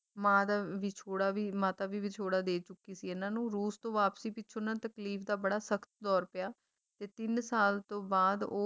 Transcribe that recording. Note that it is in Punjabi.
ਮਾਂ ਦਾ ਵਿਛੋੜਾ ਵੀ ਮਾਤਾ ਵੀ ਵਿਛੋੜਾ ਦੇ ਚੁੱਕੀ ਸੀ ਇਹਨਾਂ ਨੂੰ ਰੂਸ ਤੋਂ ਵਾਪਸੀ ਪਿੱਛੋਂ ਇਹਨਾਂ ਨੂੰ ਤਕਲੀਫ ਦਾ ਬੜਾ ਸਖਤ ਦੌਰ ਪਿਆ ਤੇ ਤਿੰਨ ਸਾਲ ਤੋਂ ਬਾਅਦ ਉਹ